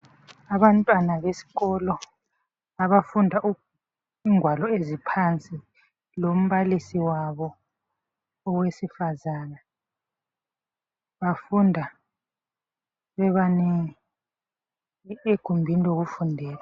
Abantwana besikolo abafunda ingwalo eziphansi lombalisi wabo owesifazana. Bafunda bebanengi egumbini lokufundela.